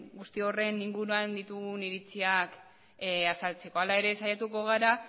guzti horren inguruan ditugun iritziak azaltzeko hala ere saiatuko gara